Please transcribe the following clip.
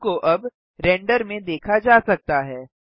cube को अब render में देखा जा सकता है